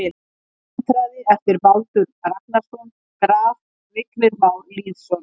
Vindhraði eftir Baldur Ragnarsson Graf: Vignir Már Lýðsson